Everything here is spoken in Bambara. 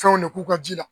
Fɛnw de k'u ka ji la